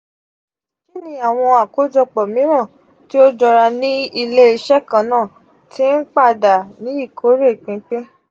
kini awọn akojopo miiran ti o jọra ni ile-iṣẹ kanna ti n pada ni ikore pinpin?